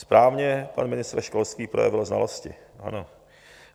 Správně pan ministr školství projevil znalosti.